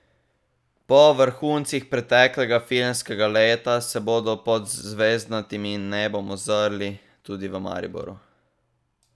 Po vrhuncih preteklega filmskega leta se bodo pod zvezdnatim nebom ozrli tudi v Mariboru.